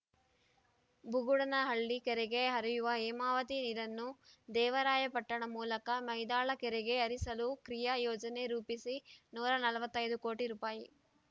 ಬುಗುಡನಹಳ್ಳಿ ಕೆರೆಗೆ ಹರಿಯುವ ಹೇಮಾವತಿ ನೀರನ್ನು ದೇವರಾಯಪಟ್ಟಣ ಮೂಲಕ ಮೈದಾಳ ಕೆರೆಗೆ ಹರಿಸಲು ಕ್ರಿಯಾ ಯೋಜನೆ ರೂಪಿಸಿ ನೂರ ನಲವತ್ತೈದು ಕೋಟಿ ರೂಪಾಯಿ